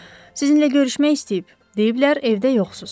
Sizinlə görüşmək istəyib, deyiblər evdə yoxsuz.